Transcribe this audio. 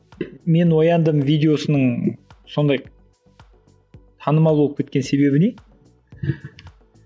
мен ояндым видеосының сондай танымал болып кеткен себебі не